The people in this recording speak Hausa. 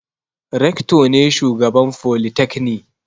Rector ne shugaban folytekni.